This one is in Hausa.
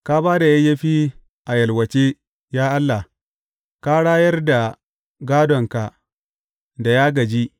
Ka ba da yayyafi a yalwace, ya Allah; ka rayar da gādonka da ya gāji.